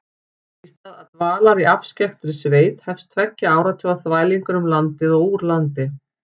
Í stað dvalar í afskekktri sveit hefst tveggja áratuga þvælingur um landið og úr landi.